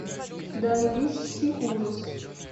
данвичский ужас